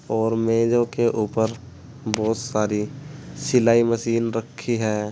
और मेजों के ऊपर बहुत सारी सिलाई मशीन रखी है।